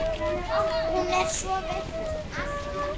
Hún er svo vitlaus alltaf.